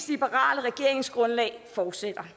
liberale regeringsgrundlag fortsætter